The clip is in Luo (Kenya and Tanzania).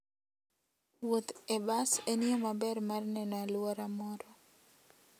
Wuoth e bas en yo maber mar neno alwora moro.